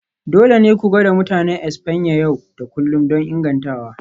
Dole ne ku gwada Mutanen Espanya yau da kullun don ingantawa.